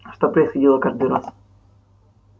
что происходило каждый раз